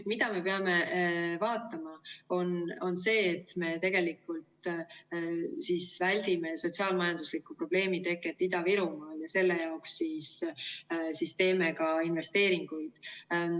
Mida me peame vaatama, on see, et me väldiksime sotsiaal-majandusliku probleemi teket Ida-Virumaal, ja selle jaoks siis teeme ka investeeringuid.